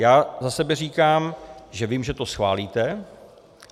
Já za sebe říkám, že vím, že to schválíte.